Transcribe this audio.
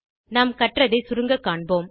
நாம் கற்றதை சுருங்க காண்போம்